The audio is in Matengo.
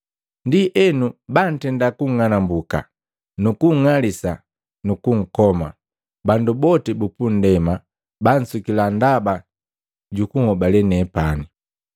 “Ndienu bantenda kunng'anambuka nukunng'alisa nu kunkoma. Bandu boti bupunndema bansukila ndaba jukunhobale nepani.